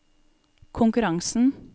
konkurransen